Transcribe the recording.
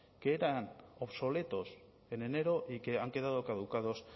que eran obsoletos en enero y que han quedado caducados